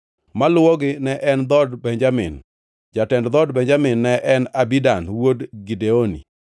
Maluwogi ne en dhood Benjamin. Jatend dhood Benjamin ne en Abidan wuod Gideoni.